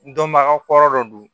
Dɔnbaga kɔrɔ dɔ don